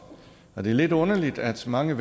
og det er lidt underligt at mange